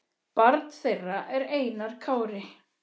Barn þeirra er Einar Kári.